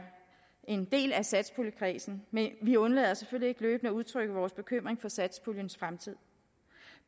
en del af satspuljekredsen men vi undlader selvfølgelig ikke løbende at udtrykke vores bekymring for satspuljens fremtid